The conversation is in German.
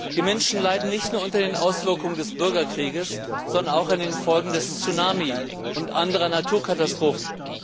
Die Menschen leiden nicht nur unter den Auswirkungen des Bürgerkrieges, sondern auch unter den Folgen des Tsunami und anderer Naturkatastrophen.